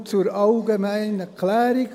Nur zur allgemeinen Klärung: